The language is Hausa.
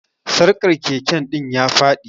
Sarkar Keke din ya Fadi.